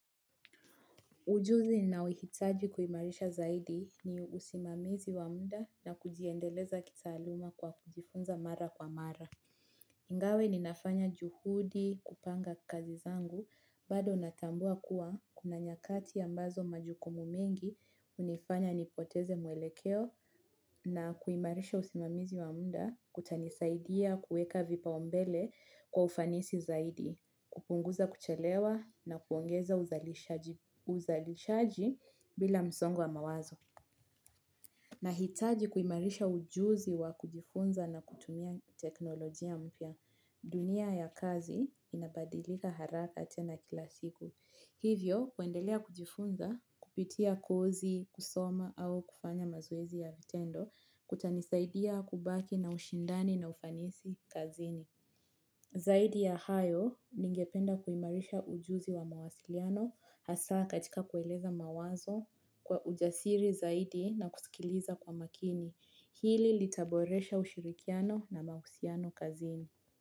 Ujuzi ninaohitaji kuimarisha zaidi ni usimamizi wa muda na kujiendeleza kitaaluma kwa kujifunza mara kwa mara. Ingawa ninafanya juhudi kupanga kazi zangu, bado natambua kuwa kuna nyakati ambazo majukumu mengi hunifanya nipoteze mwelekeo na kuimarisha usimamizi wa muda kutanisaidia kuweka vipa umbele kwa ufanisi zaidi, kupunguza kuchelewa na kuongeza uzalishaji bila msongo wa mawazo. Nahitaji kuimarisha ujuzi wa kujifunza na kutumia teknolojia mpya. Dunia ya kazi inabadilika haraka tena kila siku. Hivyo, kuendelea kujifunza, kupitia kozi, kusoma au kufanya mazoezi ya vitendo, kutanisaidia kubaki na ushindani na ufanisi kazini. Zaidi ya hayo ningependa kuimarisha ujuzi wa mawasiliano hasa katika kueleza mawazo kwa ujasiri zaidi na kusikiliza kwa makini. Hili litaboresha ushirikiano na mahusiano kazini.